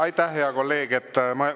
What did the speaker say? Aitäh, hea kolleeg!